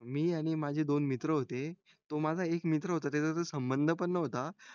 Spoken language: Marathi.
मी आणि माझे दोन मित्र होते तो माझा एक मित्र होता त्याच्य संबंध पण न्हवता